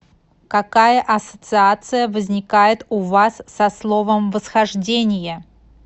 какая ассоциация возникает у вас со словом восхождение